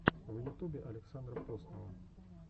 в ютубе александра поснова